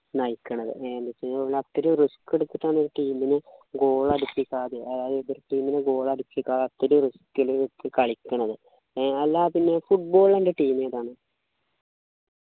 നയിക്കണത് എ എന്ത് വെച്ചുകഴിഞ്ഞാ ഒന്നു ഒത്തിരി risk എടുത്തിട്ടാണ് ഒരു team നെ goal അടിപ്പിക്കുക ആദ്യം അതായത് എതിർ team നെ goal അടിപ്പിക്കാത്തൊരു risk ലു ക്ക് കളിക്കണത് അല്ല പിന്നെ football ൽ അൻ്റെ team ഏതാണ്